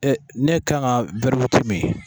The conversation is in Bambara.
Ee n'e kan ga wɛri witi mi